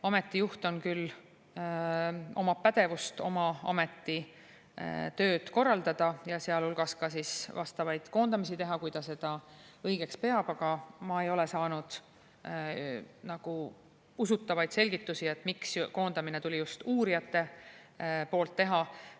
Ameti juht küll omab pädevust oma ameti tööd korraldada ja sealhulgas vastavaid koondamisi teha, nii nagu ta seda õigeks peab, aga ma ei ole saanud usutavaid selgitusi, miks koondamine tuli just uurijate hulgas teha.